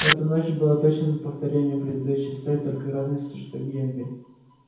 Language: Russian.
эта ночь была точным повторением предыдущей с той только разницей что генри